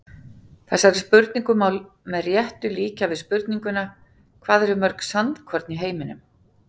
Þessari spurningu má með réttu líkja við spurninguna Hvað eru mörg sandkorn í heiminum?